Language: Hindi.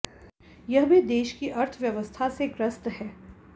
यह भी देश की अर्थव्यवस्था से ग्रस्त है